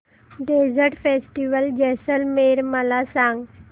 desert festival Jaisalmer मला सांग